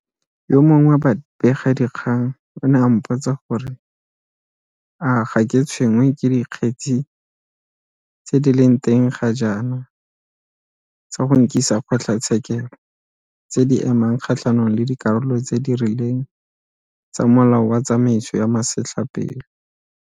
Yo mongwe wa babegadikgang o ne a mpotsa gore a ga ke tshwenngwe ke dikgetse tse di leng teng ga jaana tsa go nkisakgotlatshekelo tse di emang kgatlhanong le dikarolo tse di rileng tsa Molao wa Tsamaiso ya Masetlapelo.